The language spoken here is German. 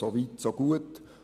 So weit so gut.